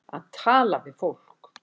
Að tala við fólk